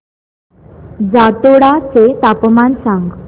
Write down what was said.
जातोडा चे तापमान सांग